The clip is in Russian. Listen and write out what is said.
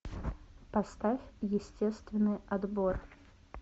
поставь естественный отбор